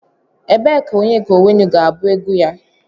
Ebee ka Onyeka Onwenu ga-abụ egwu ya?